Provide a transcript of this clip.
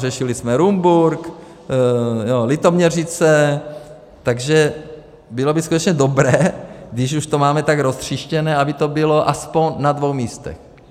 Řešili jsme Rumburk, Litoměřice, takže bylo by skutečně dobré, když už to máme tak roztříštěné, aby to bylo aspoň na dvou místech.